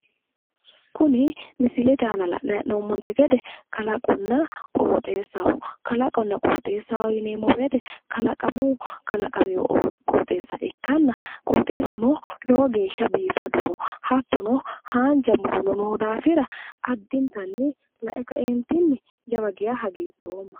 Kuni misilete aana la'nayi hee'noommonte gede kalaqonna qooxeessaho kalaqonna qooxeessaho yineemmo woyite kalaqamuyi kalaqamewo qooxeessa ikkanna qooxeessuno lowo geesha biifadoho hattono haanja murono noo daafira addinta la'e ka'e jawa geesha hagiidhoomma